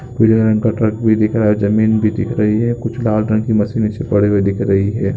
पीले रंग का ट्रक भी दिख रहा है जमीन भी दिख रही है कुछ लाल रंग की मशीनें नीचे पड़ी हुई दिख रही हैं।